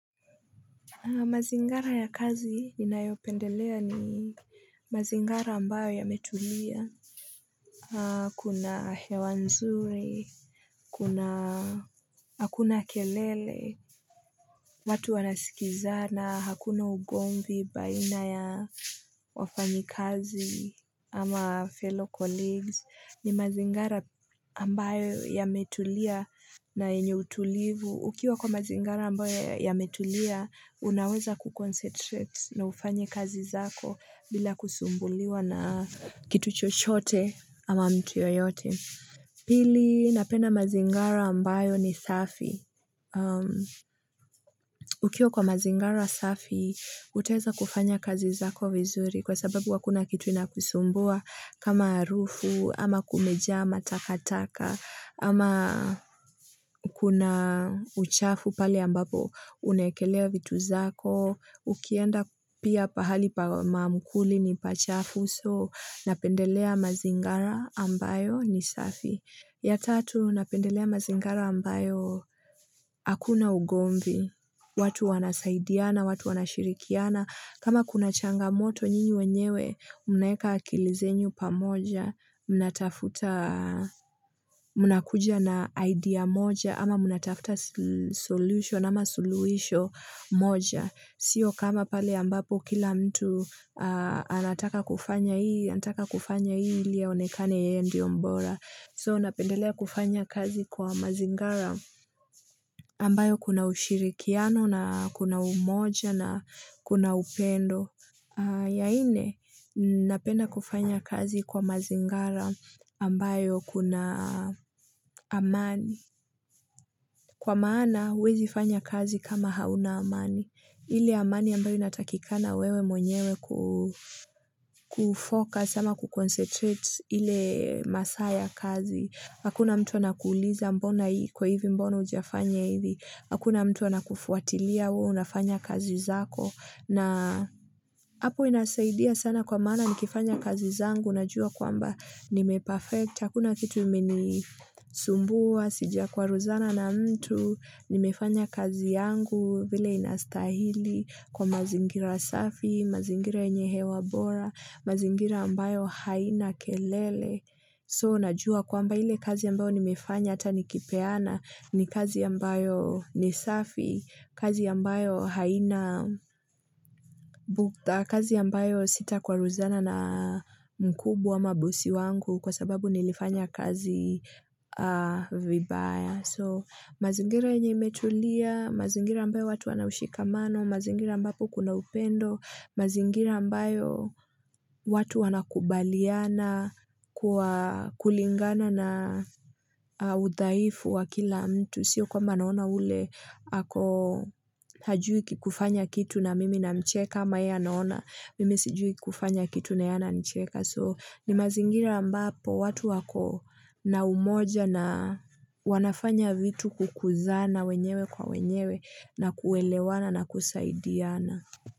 Mazingara ya kazi ninayopendelea ni mazingara ambayo yametulia. Kuna hewa nzuri. Kuna hakuna kelele. Watu wanasikizana hakuna ugomvi baina ya wafanyikazi ama fellow colleagues ni mazingara ambayo yametulia na yenye utulivu. Ukiwa kwa mazingara ambayo yametulia, unaweza kuconcentrate na ufanye kazi zako bila kusumbuliwa na kitu chochote ama mtu yeyote. Pili, napenda mazingara ambayo ni safi. Ukiwa kwa mazingara safi, utaeza kufanya kazi zako vizuri kwa sababu hakuna kitu inakusumbua kama harufu, ama kumejaa, matakataka, ama kuna uchafu pale ambapo unaekelea vitu zako, ukienda pia pahali pa mamkuli ni pachafu so napendelea mazingara ambayo ni safi. Ya tatu, napendelea mazingara ambayo hakuna ugomvi, watu wanasaidiana, watu wanashirikiana, kama kuna changamoto nyinyi wenyewe, mnaeka akili zenu pamoja, mnatafuta mnakuja na idea moja, ama mnatafuta solution, ama suluhisho moja. Sio kama pale ambapo kila mtu anataka kufanya hii, anataka kufanya hii ili aonekane yeye ndio mbora. So napendelea kufanya kazi kwa mazingara ambayo kuna ushirikiano na kuna umoja na kuna upendo. Ya nne napenda kufanya kazi kwa mazingara ambayo kuna amani Kwa maana huwezi fanya kazi kama hauna amani ile amani ambayo inatakikana wewe mwenyewe ku kufocus ama kuconcentrate ile masaa ya kazi Hakuna mtu anakuuliza mbona hii iko hivi mbona hujafanya hivi Hakuna mtu anakufuatilia wewe unafanya kazi zako na hapo inasaidia sana kwa maana nikifanya kazi zangu, najua kwamba nimeperfect, hakuna kitu imenisumbua, sijakwaruzana na mtu, nimefanya kazi yangu vile inastahili kwa mazingira safi, mazingira yenye hewa bora, mazingira ambayo haina kelele. So, najua kwamba ile kazi ambayo nimeifanya hata nikipeana ni kazi ambayo ni safi, kazi ambayo haina, kazi ambayo sita kwaruzana na mkubwa ama bosi wangu kwa sababu nilifanya kazi vibaya. So mazingira yenye imetulia, mazingira ambayo watu wanaushikamano, mazingira ambayo kuna upendo, mazingira ambayo watu wanakubaliana kwa kulingana na udhaifu wa kila mtu. Sio kwamba anaona ule ako hajui kufanya kitu na mimi namcheka ama yeye anaona mimi sijui kufanya kitu na yeye ananicheka so ni mazingira ambapo watu wako na umoja na wanafanya vitu kukuzana wenyewe kwa wenyewe na kuelewana na kusaidiana.